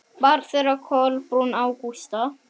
Þar var henni rétt lýst.